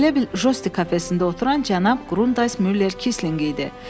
elə bil Josti kafesində oturan cənab Qrundays Müller Kisling idi.